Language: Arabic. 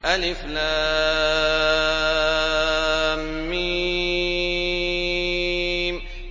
الم